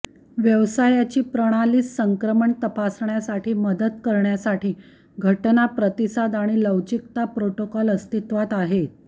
व्यवसायाची प्रणालीस संक्रमण तपासण्यासाठी मदत करण्यासाठी घटना प्रतिसाद आणि लवचिकता प्रोटोकॉल अस्तित्वात आहेत